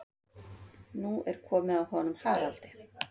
Nú er komið að honum Haraldi.